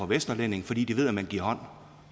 vesterlændinge fordi de ved at man giver hånd